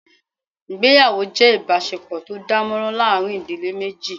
Ìgbéyàwó jé ìbásepò tó dánmórán láàrin ìdílé méjì